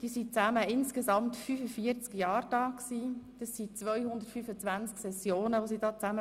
Sie sind zusammengerechnet insgesamt 45 Jahre im Grossen Rat, das sind 225 Sessionen, die sie besucht haben.